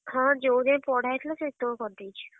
ହଁ ଯୋଉ ଯାଏ ପଢା ହେଇଥିଲା ସେଇତକ କରଦେଇଚି।